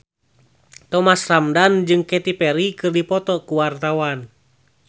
Thomas Ramdhan jeung Katy Perry keur dipoto ku wartawan